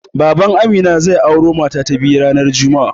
Baban Amina zai auro mata ta biyu ranar juma'a.